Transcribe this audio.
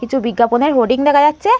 কিছু বিজ্ঞাপনের হোডিং দেখা যাচ্ছে।